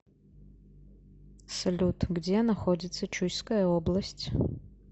салют где находится чуйская область